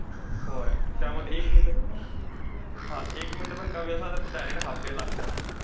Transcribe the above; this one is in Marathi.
होय. त्यामध्ये एक minute हा, एक minute पण कमी असला तर direct half day लागतंय.